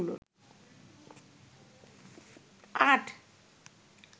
আট